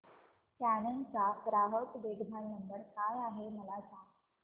canon चा ग्राहक देखभाल नंबर काय आहे मला सांग